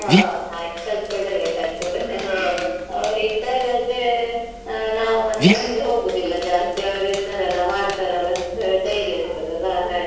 ಹೋ ಹಾಗೆ ಬೇಕಾಗ್ತದೆ. ಅವ್ರ್ ಇದ್ದಾಗದ್ರೆ ನಾವು ಮತ್ತೆ ಮುಂದೆ ಹೋಗುದಿಲ್ಲ ಜಾಸ್ತಿ, ಅವ್ರು ಇದ್ದಾರ್ ಅಲ್ಲಾ ಮಾಡ್ತಾರ್ ಅಲ್ಲಾ ಅಂತ ಧೈರ್ಯ ಇರ್ತದಾಲಾ ಹಾಗೆ.